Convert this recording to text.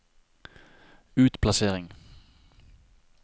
utplassering